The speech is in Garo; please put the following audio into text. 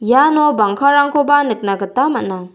uano bangkarangkoba nikna gita man·a.